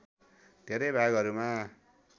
धेरै भागहरूमा